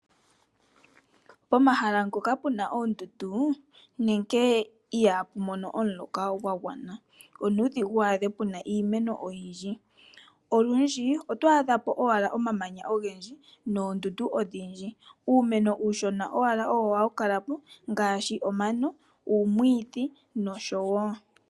Pomahala ngoka pena oondundu nenge ihaa pu mono omuloka gwa gwana, onuudhigu wu adhe pena iimeno oyindji. Olundji oto adha po owala omamanya ogendji noondundu odhindji. Uumeno uushona owala owo ha wu kala mo, ngaashi omano, uumwiidhi nosho wo.